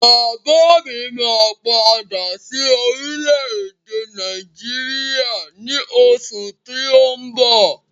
Bàbá mi máa padà sí orílẹ̀ èdè Nàìjíríà ní oṣù tí ó ń bọ̀